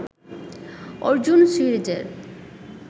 অর্জুন সিরিজের